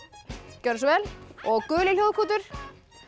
gjörðu svo vel og guli hljóðkútur